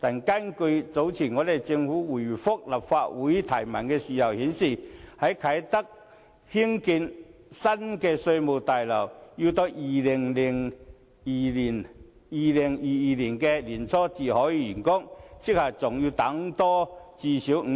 但是，早前政府答覆立法會質詢時表示，在啟德興建的新稅務大樓要到2022年年初才竣工，即還要多等最少5年。